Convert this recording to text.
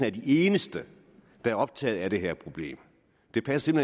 er de eneste der er optaget af det her problem det passer